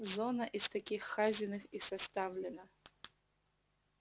зона из таких хазиных и составлена